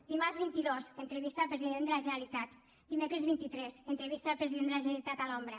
dimarts vint dos entrevista al president de la generalitat dimecres vint tres entrevista al president de la generalitat a l’ombra